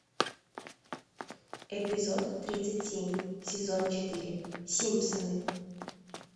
эпизод тридцать семь сезон четыре симпсоны